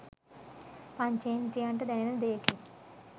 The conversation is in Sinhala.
පංචේන්ද්‍රියන්ට දැනෙන දෙයකින්.